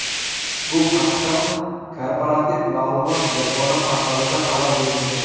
Bu haqda Korporativ ma’lumot yagona portalida xabar berilgan .